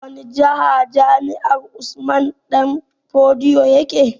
A wani jiha jami'ar Usman danfodiyo yake?